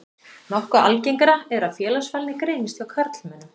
Nokkuð algengara er að félagsfælni greinist hjá karlmönnum.